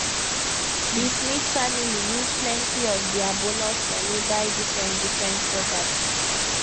di smith family use plenty of dia bonus money buy differentdifferent property